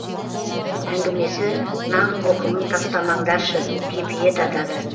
әңгімесі нан қоқымын тастамаңдаршы кепиет атады